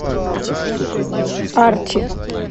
арчи